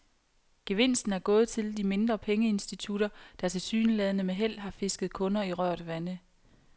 Gevinsten er gået til de mindre pengeinstitutter, der tilsyneladende med held har fisket kunder i rørt vande.